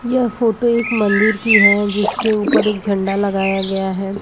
यह फोटो एक मंदिर की है जिसके ऊपर एक झंडा लगाया गया है।